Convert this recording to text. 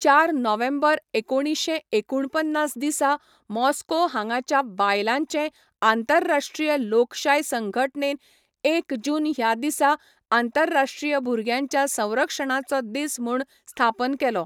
चार नोव्हेंबर एकोणीशे एकूणपन्नास दिसा मॉस्को हांगाच्या बायलांचें आंतरराश्ट्रीय लोकशाय संघटनेन एक जून ह्या दिसा आंतरराश्ट्रीय भुरग्यांच्या संरक्षणाचो दीस म्हूण स्थापन केलो.